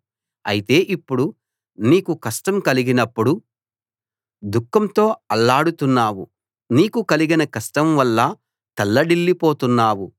అయితే ఇప్పుడు నీకు కష్టం కలిగినప్పుడు దుఃఖంతో అల్లాడుతున్నావు నీకు కలిగిన కష్టం వల్ల తల్లడిల్లిపోతున్నావు